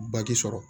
sɔrɔ